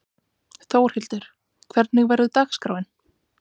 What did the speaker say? Þórhildur, hvernig verður dagskráin?